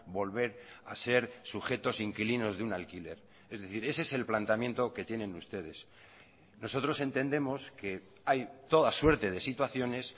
volver a ser sujetos inquilinos de un alquiler es decir ese es el planteamiento que tienen ustedes nosotros entendemos que hay toda suerte de situaciones